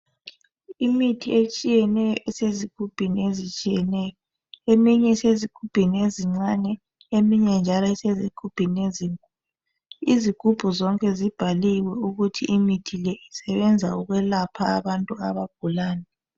Imithi etshiyeneyo esezigubhini ezitshiyeneyo. Eminye isezigubhini ezincane eminye njalo isezigubhini ezinkulu. Izigubhu zonke zibhaliwe ukuthi imithi le isebenza ukulapha abantu abagulani.